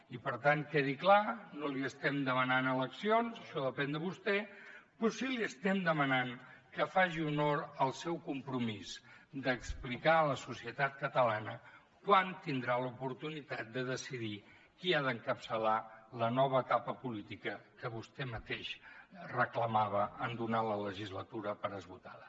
i per tant quedi clar no li estem demanant eleccions això depèn de vostè però sí que li estem demanant que faci honor al seu compromís d’explicar a la societat catalana quan tindrà l’oportunitat de decidir qui ha d’encapçalar la nova etapa política que vostè mateix reclamava en donar la legislatura per esgotada